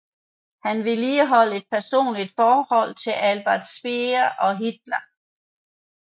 Han vedligeholdt et personligt forhold til Albert Speer og Hitler